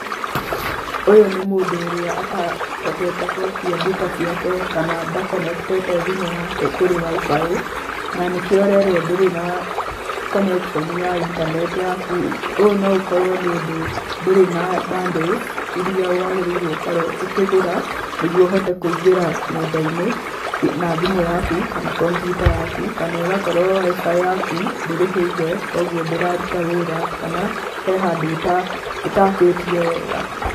Ũyũ nĩ mũndũ ũrĩa atahotete gwakia ndĩta ciake kana ndakonekitĩte thimũ yake kũrĩ WIFI. Na nikio ũrerwo ndũrĩ na connection ya intaneti yaku. Ũyũ no ũkorwo nĩ ũndũ ndũrĩ na bundles iria wagĩrĩirwo ũkorwo ũkĩgũra nĩguo ũhote kũingĩra nenda-inĩ na thimũ yaku kana kompiuta yaku, kana ĩgakorwo WIFI yaku ndũrĩhĩire koguo ndĩraruta wĩra kana he handũ ũtakĩtie wega.